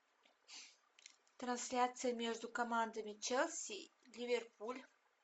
трансляция между командами челси ливерпуль